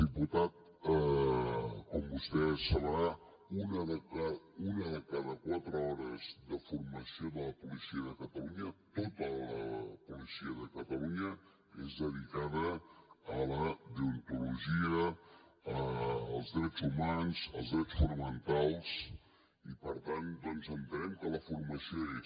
diputat com vostè deu saber una de cada quatre hores de formació de la policia de catalunya tota la policia de catalunya és dedicada a la deontologia als drets humans als drets fonamentals i per tant doncs entenem que la formació hi és